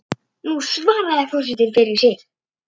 Nú svarar forseti fyrir sig.